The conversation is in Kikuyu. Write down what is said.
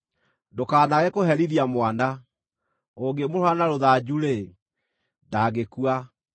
Ndũkanaage kũherithia mwana; ũngĩmũhũũra na rũthanju-rĩ, ndangĩkua.